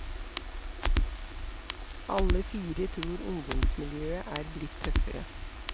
Alle fire tror ungdomsmiljøet er blitt tøffere.